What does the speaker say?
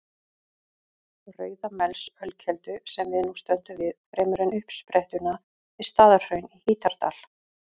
Rauðamelsölkeldu, sem við nú stöndum við, fremur en uppsprettuna við Staðarhraun í Hítardal.